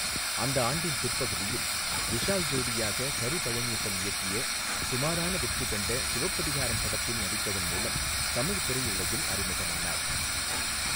அந்த ஆண்டின் பிற்பகுதியில், விஷால் ஜோடியாக கரு பழனியப்பன் இயக்கிய சுமாரான வெற்றி கண்ட சிவப்பதிகாரம் படத்தில் நடித்ததன் மூலம் தமிழ் திரையுலகில் அறிமுகமானார்.